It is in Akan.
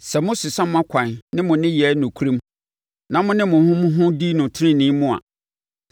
Sɛ mosesa mo akwan ne mo nneyɛɛ nokorɛm, na mone mo ho mo ho di no tenenee mu,